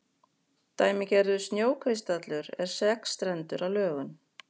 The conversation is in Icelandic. Dæmigerður snjókristallur er sexstrendur að lögun.